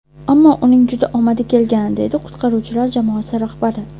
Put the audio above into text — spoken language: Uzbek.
Ammo uning juda omadi kelgan”, deydi qutqaruvchilar jamoasi rahbari.